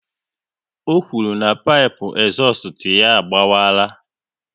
Ọ kwụrụ na pipu ezustu ya a gbawara